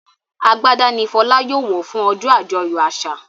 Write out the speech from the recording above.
Àgbàdá ní Fola yóò wọ fún ojó ajoyọ àṣà.